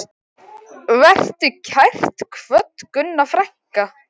Vertu kært kvödd, Gunna frænka.